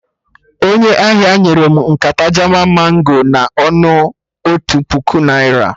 Onye ahịa nyere mụ nkata Jaman mango na ọnụ otu puku naira